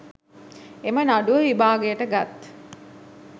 එම නඩුව විභාගයට ගත්